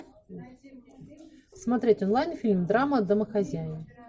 смотреть онлайн фильм драма домохозяин